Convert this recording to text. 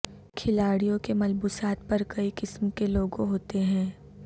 کھلاڑیوں کے ملبوسات پر کئی قسم کے لوگو ہوتے ہیں